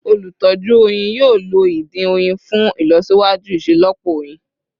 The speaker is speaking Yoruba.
Olutọju oyin yoo lo idin oyin fun ilọsiwaju iṣelọpọ oyin